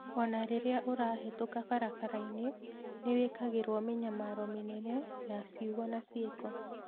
O na rĩrĩa ũrahĩtũka barabara-inĩ, nĩ wikagĩrũo mĩnyamaro mĩnene ya ciugo na ciĩko.